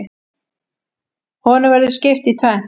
Honum verður skipt í tvennt.